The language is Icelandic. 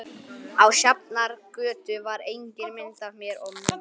Á Sjafnargötu var engin mynd af mér og Mumma.